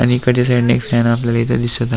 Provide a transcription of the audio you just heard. आणि इकडच्या साईडन एक फॅन आपल्याला दिसत --